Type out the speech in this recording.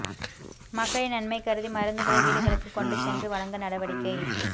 மக்களின் நன்மை கருதி மருந்துகளை வீடுகளுக்கு கொண்டு சென்று வழங்க நடவடிக்கை